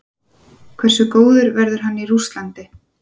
Hversu góður verður hann í Rússlandi?